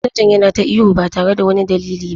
Manajan yana ta ihu ba tare da wani dalili ba.